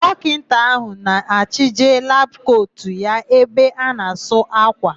Dọkịta áhụ̀ ga-achịje labụ kotu ya n'ebe a na-asụ ákwà.